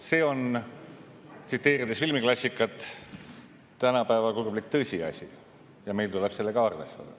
See on, tsiteerides filmiklassikat, tänapäeva kurblik tõsiasi ja meil tuleb sellega arvestada.